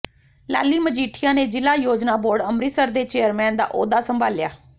ਲਾਲੀ ਮਜੀਠੀਆ ਨੇ ਜ਼ਿਲ੍ਹਾ ਯੋਜਨਾ ਬੋਰਡ ਅੰਮ੍ਰਿਤਸਰ ਦੇ ਚੇਅਰਮੈਨ ਦਾ ਅਹੁਦਾ ਸੰਭਾਲਿਆ